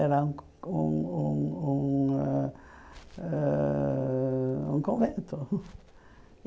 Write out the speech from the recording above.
Era um um um ãh ãh um convento.